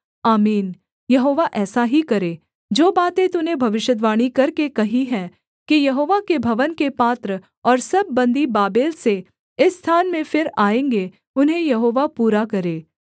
आमीन यहोवा ऐसा ही करे जो बातें तूने भविष्यद्वाणी करके कही हैं कि यहोवा के भवन के पात्र और सब बन्दी बाबेल से इस स्थान में फिर आएँगे उन्हें यहोवा पूरा करे